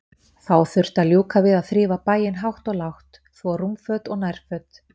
Þá þurfti að ljúka við að þrífa bæinn hátt og lágt, þvo rúmföt og nærföt.